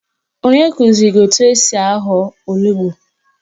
Onye kụziri ya etu esi ahọ onugbo?